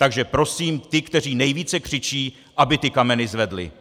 Takže prosím ty, kteří nejvíce křičí, aby ty kameny zvedli.